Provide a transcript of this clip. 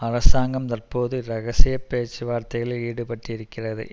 அரசாங்கம் தற்போது இரகசிய பேச்சுவார்த்தைகளில் ஈடுபட்டிருக்கிறது